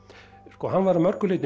sko hann var að mörgu leyti